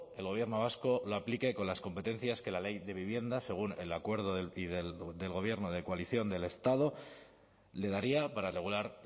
el gobierno vasco lo aplique con las competencias que la ley de vivienda según el acuerdo del gobierno de coalición del estado le daría para regular